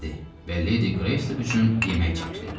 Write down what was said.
dedi və Ledi Qreys üçün yemək çəkdi.